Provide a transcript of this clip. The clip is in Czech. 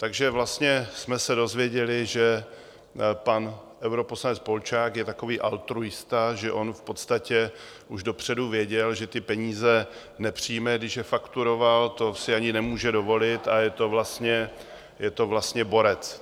Takže vlastně jsme se dozvěděli, že pan europoslanec Polčák je takový altruista, že on v podstatě už dopředu věděl, že ty peníze nepřijme, když je fakturoval, to si ani nemůže dovolit, a je to vlastně borec.